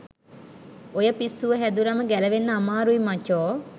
ඔය පිස්සුව හැදුනම ගැලවෙන්න අමාරුයි මචෝ